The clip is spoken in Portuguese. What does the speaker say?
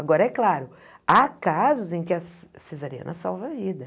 Agora, é claro, há casos em que a cesariana salva a vida.